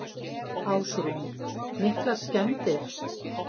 Ásrún: Miklar skemmdir?